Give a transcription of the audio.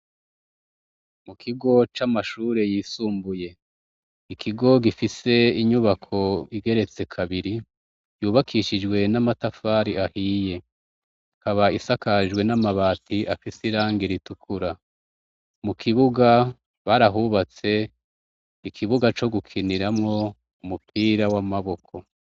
Mukigo c’amashure yisumbuye , Ikigo gifise inyubako igeretse kabiri, cubakishijwe n’amatafari ahiye. Ikaba isakajwe n’amabati afis’irangi ritukura, mukibuga barahubatse ,ikibuga co gukiniramwo umupira w’amaboko.